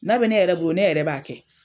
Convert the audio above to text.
N'a bɛ ne yɛrɛ bolo ne yɛrɛ b'a kɛ.